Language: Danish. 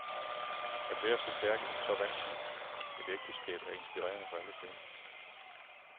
At være så stærk i så vanskeligt et ægteskab er inspirerende for alle kvinder.